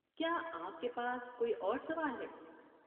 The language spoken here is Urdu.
کیا آپ کے پاس کوئی اور سوال ہے؟